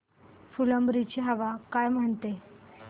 फुलंब्री ची हवा काय म्हणते